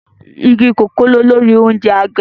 Igi kòkó ni olórí oúnjẹ àgbẹ̀